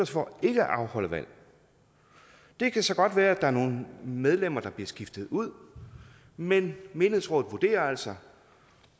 for ikke at afholde valg det kan så godt være at der er nogle medlemmer der bliver skiftet ud men menighedsrådet vurderer altså